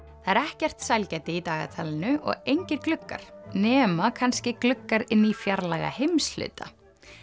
það er ekkert sælgæti í dagatalinu og engir gluggar nema kannski gluggar inn í fjarlæga heimshluta